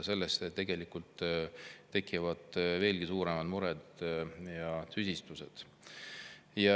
Sellest tegelikult tekivad veelgi suuremad mured ja tüsistused.